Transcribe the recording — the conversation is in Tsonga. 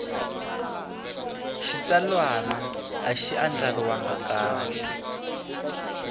xitsalwana a xi andlariwangi kahle